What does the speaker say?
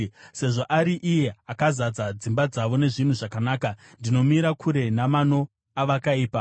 Sezvo ari iye akazadza dzimba dzavo nezvinhu zvakanaka, ndinomira kure namano avakaipa.